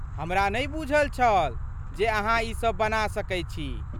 हमरा नहि बूझल छल जे अहाँ ई सभ बना सकैत छी।